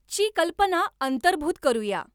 ची कल्पना अंतर्भूत करूया